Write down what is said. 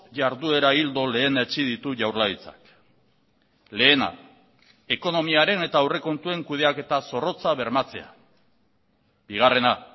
jarduera ildo lehenetsi ditu jaurlaritzak lehena ekonomiaren eta aurrekontuen kudeaketa zorrotza bermatzea bigarrena